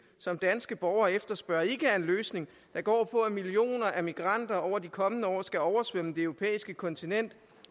som danske borgere efterspørger ikke er en løsning der går på at millioner af migranter over de kommende år skal oversvømme det europæiske kontinent